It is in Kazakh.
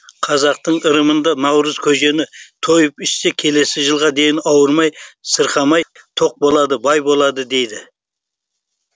қазақтың ырымында наурыз көжені тойып ішсе келесі жылға дейін ауырмай сырқамай тоқ болады бай болады дейді